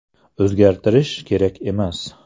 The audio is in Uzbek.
O‘zgartirish kerak emas.